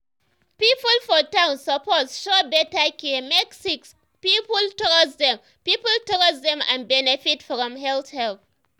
people for town suppose show better care make sick people trust dem people trust dem and benefit from health help.